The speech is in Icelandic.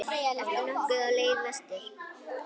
Ertu nokkuð á leið vestur?